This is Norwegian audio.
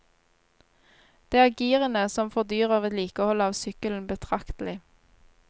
Det er girene som fordyrer vedlikeholdet av sykkelen betraktelig.